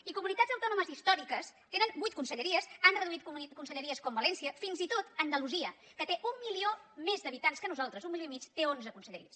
i comunitats autònomes històriques tenen vuit conselleries han reduït conselleries com valència fins i tot andalusia que té un milió més d’habitants que nosaltres un milió i mig té onze conselleries